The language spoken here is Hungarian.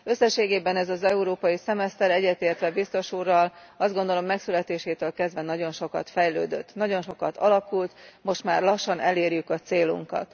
Összességében ez az európai szemeszter egyetértek biztos úrral azt gondolom, megszületésétől kezdve nagyon sokat fejlődött, nagyon sokat alakult, most már lassan elérjük a célunkat.